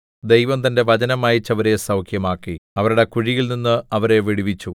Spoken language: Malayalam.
ദൈവം തന്റെ വചനം അയച്ച് അവരെ സൗഖ്യമാക്കി അവരുടെ കുഴികളിൽനിന്ന് അവരെ വിടുവിച്ചു